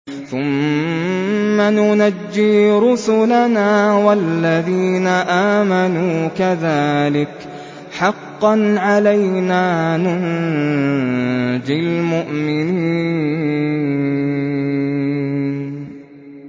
ثُمَّ نُنَجِّي رُسُلَنَا وَالَّذِينَ آمَنُوا ۚ كَذَٰلِكَ حَقًّا عَلَيْنَا نُنجِ الْمُؤْمِنِينَ